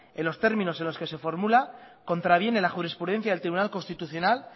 en los términos en los que se formula contraviene la jurisprudencia del tribunal constitucional